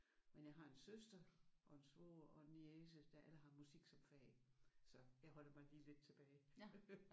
Men jeg har en søster og en en svoger og en niece der alle har musik som fag så jeg holder mig lige lidt tilbage